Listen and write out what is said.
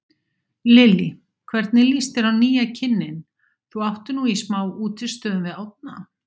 Lillý: Hvernig lýst þér á nýja kynninn, þú áttir nú í smá útistöðum við Árna?